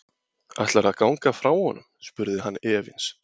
Ætlarðu að ganga frá honum? spurði hann efins.